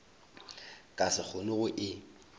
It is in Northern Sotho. ka se kgone go e